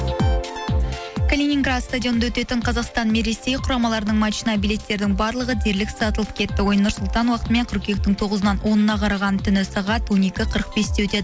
калининград стадионында өтетін қазақстан мен ресей құрамаларының матчына билеттердің барлығы дерлік сатылып кетті ойын нұр сұлтан уақытымен қыркүйектің тоғызынан онына қараған түні сағат он екі қырық бесте өтеді